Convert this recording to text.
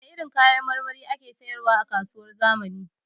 Wane irin kayan marmari ake sayar wa a kasuwar zamani?